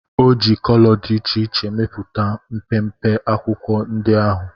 O ji kolo dị iche iche mepụta mpempe akwụkwọ ndị ahụ